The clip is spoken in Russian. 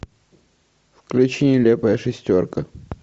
включи нелепая шестерка